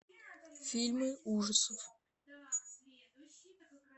фильмы ужасов